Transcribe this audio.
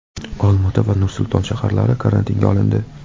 Olmaota va Nursulton shaharlari karantinga olindi.